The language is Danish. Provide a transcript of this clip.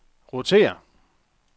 rotér